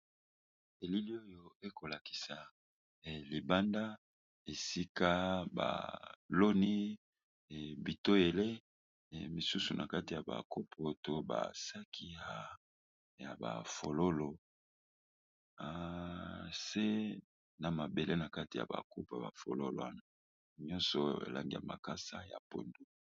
Elili oyo ekolakisa libanda esika baloni bitoyele, misusu na kati ya bakopo to basaki ya bafololo, se na mabele na kati ya bakopo bafololo wana nyonso elangia makasa ya pondu.